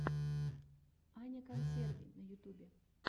аня консерви на ютубе